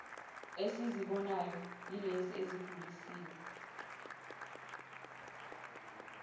esizibonayo ilezo ezidluliswe